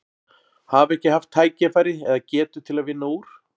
Hafa ekki haft tækifæri eða, eða getu til að vinna úr?